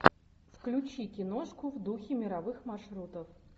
включи киношку в духе мировых маршрутов